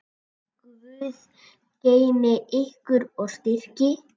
Guð geymi ykkur og styrki.